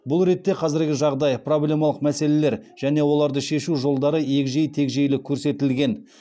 бұл ретте қазіргі жағдай проблемалық мәселелер және оларды шешу жолдары егжей тегжейлі көрсетілген